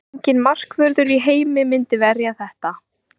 Enginn markvörður í heimi myndi verja þetta.